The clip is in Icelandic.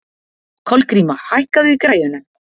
Kolgríma, hækkaðu í græjunum.